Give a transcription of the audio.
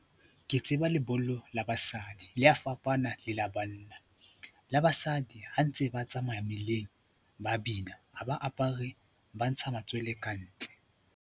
Ke tseba lebollo la basadi le a fapana le la banna. La basadi ha ntse ba tsamaya mmileng ba bina, ha ba apare, ba ntsha matswele ka ntle.